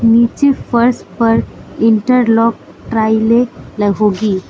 नीचे फर्श पर इंटरलॉक ट्रायले लगोगी।